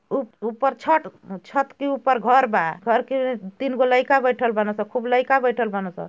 उप-ऊपर छत छत के ऊपर घर बा घर के तीन गो लइका बैठल बना स खूब लइका बैठल बना स।